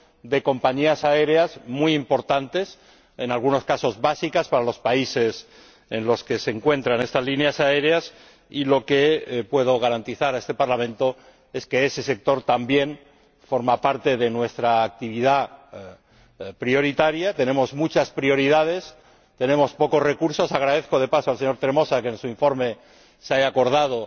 de compañías aéreas muy importantes, en algunos casos básicas para los países en los que se encuentran. Lo que puedo garantizar a este Parlamento es que ese sector también forma parte de nuestra actividad prioritaria. Tenemos muchas prioridades, pero pocos recursos. Agradezco de paso al señor Tremosa que en su informe se haya acordado